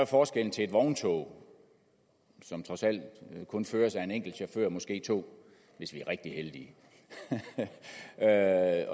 forskellen til et vogntog som trods alt kun føres af en enkelt chauffør måske to hvis vi er rigtig heldige det er